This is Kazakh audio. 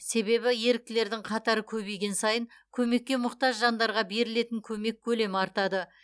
себебі еріктілердің қатары көбейген сайын көмекке мұқтаж жандарға берілетін көмек көлемі артады